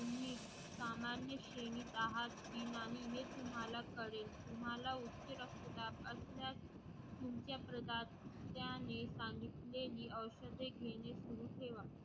तुम्ही सामान्य श्रेणीत आहेत कि नाही हे तुम्हाला कळेल, तुम्हाला उच्च रक्तदाब असल्यास तुमच्या सांगितलेली औषधे घेणे सुरु ठेवा